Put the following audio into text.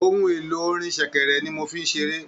Ohun èlò orin sẹ̀kẹ̀rẹ̀ ni mo n fí ṣeré.